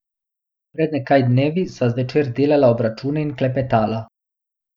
Pred nekaj dnevi sva zvečer delala obračune in klepetala.